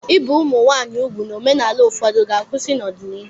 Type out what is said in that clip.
Ibi ụmụ nwanyị úgwù na omenala ụfọdụ ga-akwụsị n'ọdịnihu.